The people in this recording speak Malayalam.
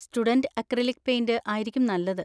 സ്റ്റുഡന്‍റ് അക്രിലിക് പെയിന്‍റ് ആയിരിക്കും നല്ലത്.